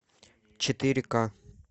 четыре ка